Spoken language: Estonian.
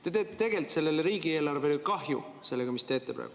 Te teete tegelikult riigieelarvele kahju sellega, mis teete praegu.